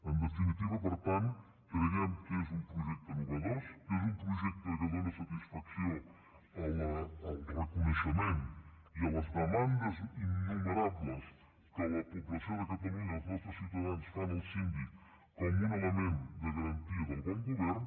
en definitiva per tant creiem que és un projecte innovador que és un projecte que dóna satisfacció al reconeixement i a les demandes innumerables que la població de catalunya els nostres ciutadans fan al síndic com a un element de garantia del bon govern